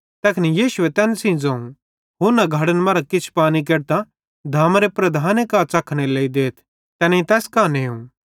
तैखन यीशुए तैन सेइं ज़ोवं हुन्ना घड़े मरां किछ पानी केडतां धामारे प्रधाने कां च़खनेरे लेइ देथ तैनेईं तैस कां नेव